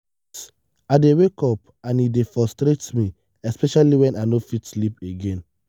yes i dey wake up and e dey frustrate me especially when i no fit sleep again.